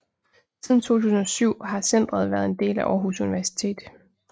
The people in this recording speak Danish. Siden 2007 har centret været en del af Aarhus Universitet